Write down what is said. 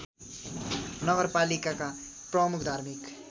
नगरपालिकाका प्रमुख धार्मिक